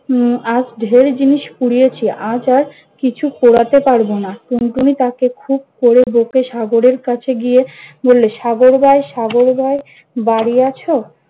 উম আজ ঢের জিনিস পুড়িয়েছি, আজ আর কিছু পোড়াতে পারব না। টুনটুনি তাকে খুব করে বকে সাগরের কাছে গিয়ে বললে- সাগর ভাই সাগর ভাই বাড়ি আছ?